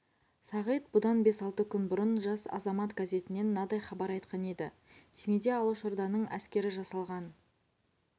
сағит бұдан бес-алты күн бұрын жас азамат газетінен мынадай хабар айтқан еді семейде алашорданың әскері жасалған